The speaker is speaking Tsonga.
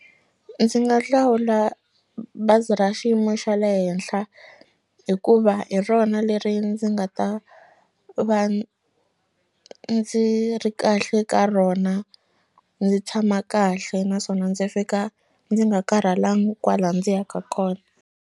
Ndzi nga hlawula bazi ra xiyimo xa le henhla hikuva hi rona leri ndzi nga ta va ndzi ri kahle ka rona ndzi tshama kahle naswona ndzi fika ndzi nga karhalangi kwala ndzi yaka kona.